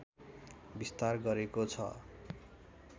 विस्तार गरेको छ